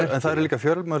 en það eru líka fjölmörg